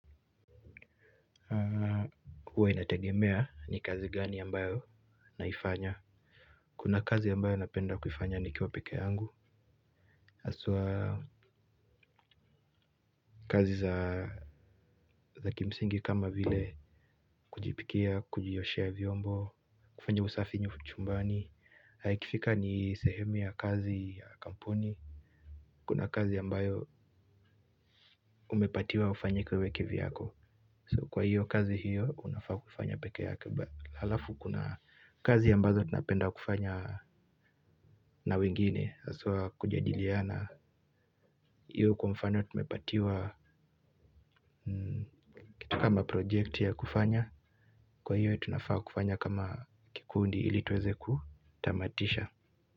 Huwa inategemea ni kazi gani ambayo naifanya. Kuna kazi yambayo napenda kufanya nikiwa peke yangu haswa kazi za kimsingi kama vile kujipikia, kujioshea vyombo. Kufanya usafi nyu chumbani, na ikifika ni sehemu ya kazi ya kampuni. Kuna kazi yambayo umepatiwa ufanye wewe kivyako. Kwa hiyo kazi hiyo unafaa kufanya peke yako. Halafu kuna kazi ya mbazo tunapenda kufanya na wingine haswa kujadiliana na hiyo kwa mfano tumepatiwa. Kama project ya kufanya. Kwa hiyo ya tunafaa kufanya kama kikundi ili tuweze kutamatisha.